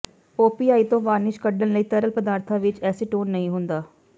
OPI ਤੋਂ varnish ਕੱਢਣ ਲਈ ਤਰਲ ਪਦਾਰਥਾਂ ਵਿੱਚ ਐਸੀਟੋਨ ਨਹੀਂ ਹੁੰਦਾ